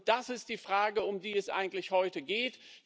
Das ist die Frage, um die es eigentlich heute geht.